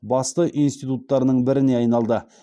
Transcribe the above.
басты институттарының біріне айналды